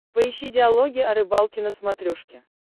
поищи диалоги о рыбалке на смотрешке